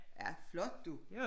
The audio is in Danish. Ja flot du